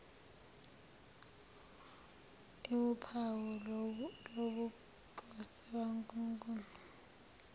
iwuphawu lobukhosi bukankulunkulu